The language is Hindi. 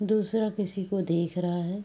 दूसरा किसी को देख रहा है।